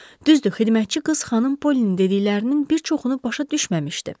Düzdür, xidmətçi qız xanım Pollinin dediklərinin bir çoxunu başa düşməmişdi.